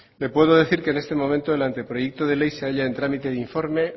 le puedo decir que en este momento el anteproyecto de ley se halla en trámite de informe